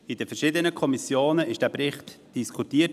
Der Bericht wurde in den verschiedenen Kommissionen diskutiert.